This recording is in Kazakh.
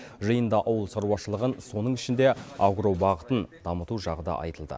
жиында ауыл шаруышылығын соның ішінде агро бағытын дамыту жағы да айтылды